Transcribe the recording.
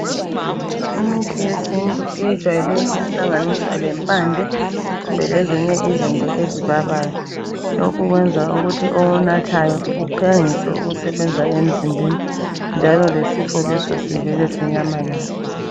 imithi yesintu eyejwayele ukuhlanganiswa lempande lezinye izinto ezibabayo lokhu kwenza ukuthi okunathayo uphangise ukusebenza emzimbeni njalo lesifo leso sivele sinyamalale